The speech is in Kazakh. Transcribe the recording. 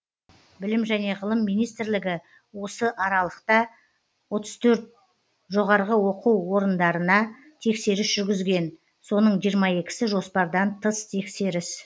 білім және ғылым министрлігі осы аралықта отыз төрт жоғарғы оқу орындарына тексеріс жүргізген соны жиырма екісі жоспардан тыс тексеріс